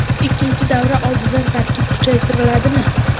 Ikkinchi davra oldidan tarkib kuchaytiriladimi?